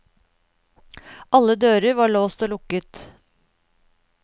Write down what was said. Alle dører var låst og lukket.